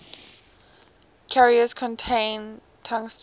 carrier contains tungsten